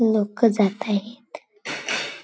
लोक जात आहेत.